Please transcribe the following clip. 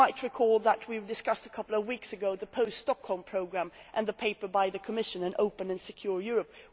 You might recall that we discussed a couple of weeks ago the post Stockholm programme and the paper by the Commission An open and secure Europe'.